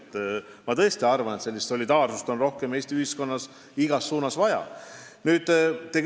Ja ma tõesti arvan, et solidaarsust oleks Eesti ühiskonnas igas suunas rohkem vaja.